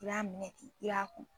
I b'a minɛ ten i y'a ku